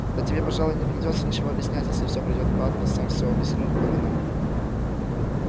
да тебе пожалуй и не придётся ничего объяснять если все пройдёт гладко сам все объясню кому надо